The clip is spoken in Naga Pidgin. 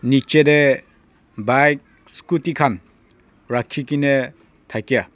niche te bike scooty khan rakhi kena thakia.